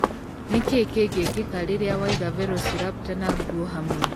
Nĩ kĩĩ kĩngĩkĩka rĩrĩa waiga Velociraptor na ngũuo hamwe